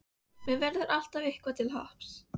Mér verður alltaf eitthvað til happs.